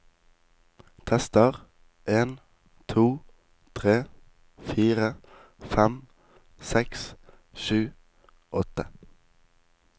Tester en to tre fire fem seks sju åtte